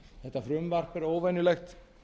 þetta frumvarp er óvenjulegt